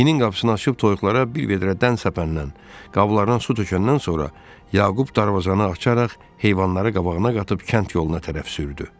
İnin qapısını açıb toyuqlara bir vedrə dən səpəndən, qablarına su tökəndən sonra Yaqub darvazanı açaraq heyvanları qabağına qatıb kənd yoluna tərəf sürdü.